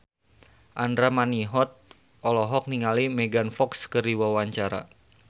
Andra Manihot olohok ningali Megan Fox keur diwawancara